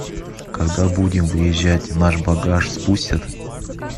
когда будем выезжать наш багаж спустят